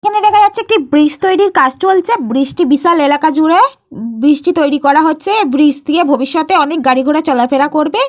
এখানে দেখা যাচ্ছে যে একটা ব্রিজ তৈরির কাজ চলছে। ব্রিজ - টি বিশাল এলাকা জুড়ে ব্রিজ -টি তৈরি করা হচ্ছে। এই ব্রিজ দিয়ে ভবিষতে অনেক গাড়ি ঘোড়া চলাফেরা করবে।